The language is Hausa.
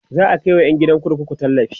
za'a Kai wa ƴan gidan kurkuku tallafi